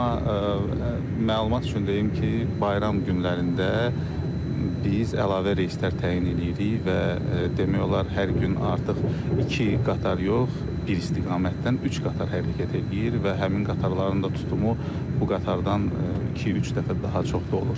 Amma məlumat üçün deyim ki, bayram günlərində biz əlavə reyslər təyin eləyirik və demək olar hər gün artıq iki qatar yox, bir istiqamətdən üç qatar hərəkət eləyir və həmin qatarların da tutumu bu qatardan iki-üç dəfə daha çox da olur.